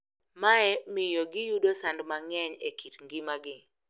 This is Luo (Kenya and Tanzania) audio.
Mae miyo giyudo sand mang`eny e kit ngimagi.